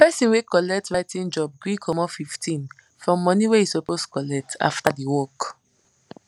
person wey colet writing job gree comot fifteen from money wey he suppose collect after the work